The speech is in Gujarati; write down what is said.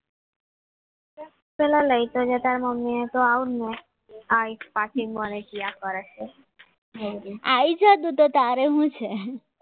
પહેલા લઈ તો જા તારી મમ્મીને તો આવો ને આવીશ પાછી આવી જા અત્યારે તો શું છે આવી જા તારે તો શું છે